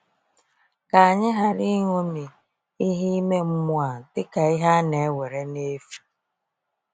Ka anyị ghara ịṅomi ìhè ime mmụọ a dịka ihe a na-ewere n’efu!